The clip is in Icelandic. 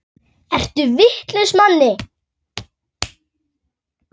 Ertu vitlaus Manni!